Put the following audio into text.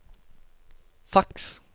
faks